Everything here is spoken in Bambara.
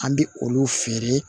An bɛ olu feere